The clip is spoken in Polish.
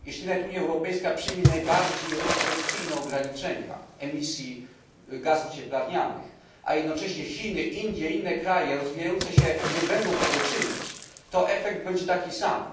Jeśli nawet Unia Europejska przyjmie najbardziej restrykcyjne ograniczenia emisji gazów cieplarnianych, a jednocześnie Chiny, Indie i inne kraje rozwijające się nie będą tego czynić, to efekt będzie taki sam.